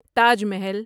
Taj Mahal